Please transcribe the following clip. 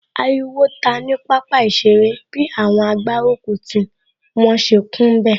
Ariwo ta ní pápá ìṣeré bi àwọn agbárùkùtì wọn ṣe kún bẹ̀